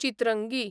Chitrangi